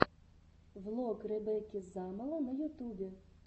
влог ребекки замоло на ютубе